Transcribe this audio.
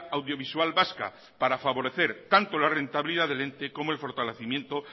audiovisual vasca para favorecer tanto la rentabilidad del ente como el fortalecimiento